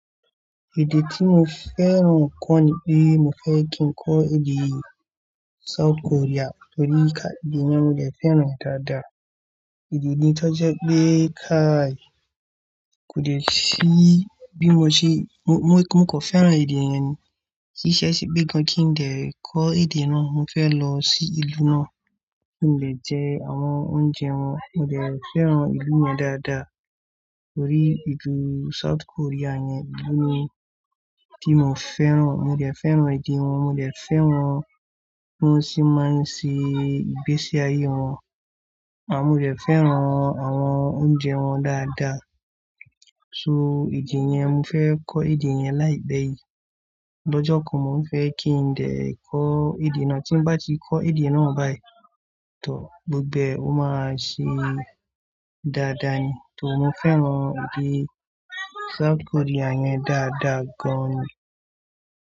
Èdè tí mo fẹ́ran kọ́ níbí, mo fẹ́ kí n kọ́ èdè South Korea torí kà-- èdè yẹn mo dẹ fẹ́ran dáadáa. Èdè ni tó jẹ pé káàí kò de ṣí bí mo ṣe-- mo, mo kò fẹ́ran èdè yẹn ni. Kì í ṣe ẹṣẹ pé gan kí n dẹ kọ́ èdè náà. Mo fẹ́ lọ sí ìlú náà kí n lè jẹ àwọn oúnjẹ wọn. Mo dẹ fẹ́ran ìlú yẹn dáadáa torí èdè South Korea yẹn ni ìdí mi tí mo fẹ́ran. Mo dẹ fẹ́ran èdè wọn, mo dẹ fẹ́ran bí wọ́n ṣe máa ń ṣe ìgbésí ayé wọn. Ànd mo dẹ fẹ́ran àwọn oúnjẹ wọn dáadáa. So èdè yẹn, mo fẹ́ kọ́ èdè yẹn láìpẹ́ yìí. Lọ́jọ́ kan mó fẹ́ kí n dè kọ́ èdè náà. Tí n bá ti kọ́ èdè náà báyìí tọ̀, gbogbo ẹ̀ o máa ṣe dáadáa ni torí mo fẹ́ran èdè South Korea yẹn dáadáa gan ni.